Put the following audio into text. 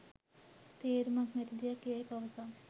තේරුමක් නැති දෙයක් යැයි පවසා